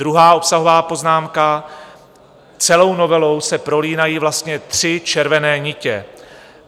Druhá obsahová poznámka: Celou novelou se prolínají vlastně tři červené nitě.